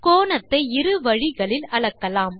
கோணத்தை இரு வழிகளில் அளக்கலாம்